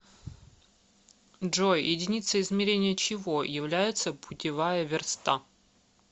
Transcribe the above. джой единицей измерения чего является путевая верста